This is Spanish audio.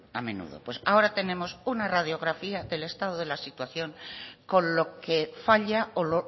a menudo pues ahora tenemos una radiografía del estado de la situación con lo que falla o